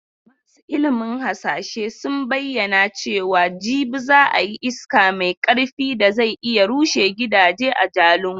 Masu ilimin hasashe sun bayyana cewa jibi za a yi iska mai karfi da zai iya rushe gidaje a Jalingo.